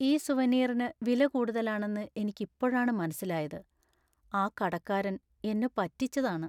ഈ സുവനീറിന് വില കൂടുതലാണെന്ന് എനിക്ക് ഇപ്പോഴാണ് മനസ്സിലായത്; ആ കടക്കാരൻ എന്നെ പറ്റിച്ചതാണ്.